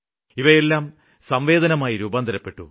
അവയെല്ലാം സംവേദനമായി രൂപാന്തരപ്പെട്ടു